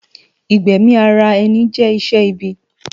igbẹmi árá ènì jè iṣè ìbì